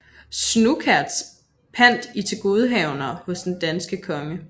Snouckaerts pant i tilgodehavenderne hos den danske konge